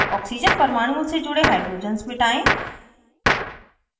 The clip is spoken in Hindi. oxygen परमाणुओं से जुड़े hydrogens मिटायें